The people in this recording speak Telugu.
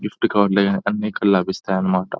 గిఫ్ట్ కార్డులు అన్నీ ఇక్కడ లభిస్తాయన్నమాట.